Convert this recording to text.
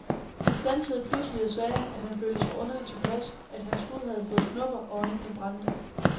Han standsede pludselig og sagde, at han følte sig underligt tilpas, at hans hud havde fået knopper og øjnene brændte.